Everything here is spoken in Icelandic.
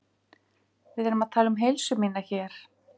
Við erum að tala um heilsu mína hér.